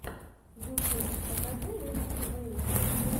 ютуб покажи ненси вэйв